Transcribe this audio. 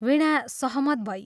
वीणा सहमत भई।